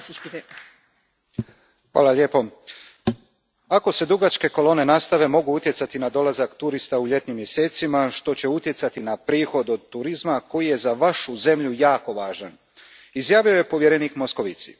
Gospođo predsjednice, Ako se dugačke kolone nastave, mogu utjecati na dolazak turista u ljetnim mjesecima što će utjecati na prihod od turizma koji je za vašu zemlju jako važan, izjavio je povjerenik Moscovici.